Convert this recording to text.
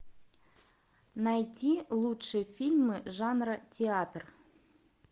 найти лучшие фильмы жанра театр